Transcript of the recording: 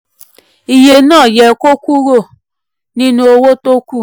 iye náà yẹ kó yọkúrò nínú owó tí kù.